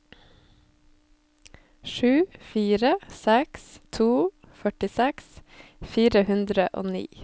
sju fire seks to førtiseks fire hundre og ni